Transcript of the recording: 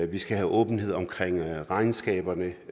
vi skal have åbenhed omkring regnskaberne